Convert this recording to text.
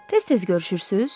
Tez-tez görüşürsüz?